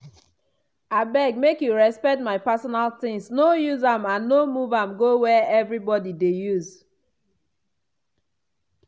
abeg make you respect my pesinal tings no use am and no move am go where everybody dey use.